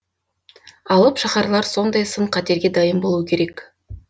алып шаһарлар сондай сын қатерге дайын болуы керек